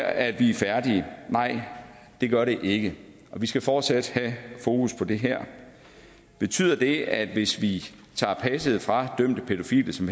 at vi er færdige nej det gør det ikke vi skal fortsat have fokus på det her betyder det at hvis vi tager passet fra dømte pædofile som